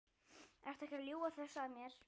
Ertu ekki að ljúga þessu að mér?